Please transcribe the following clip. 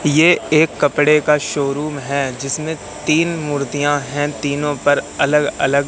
ये एक कपड़े का शोरूम है जिसमें तीन मूर्तियां हैं तीनों पर अलग अलग--